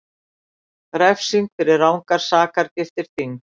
Refsing fyrir rangar sakargiftir þyngd